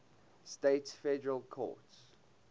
states federal courts